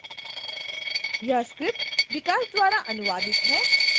यह script विकास द्वारा अनुवादित है मैं जया अब आपसे विदा लेती हूँ